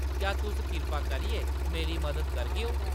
क्या तुस कृपा करियै मेरी मदद करगेओ? ”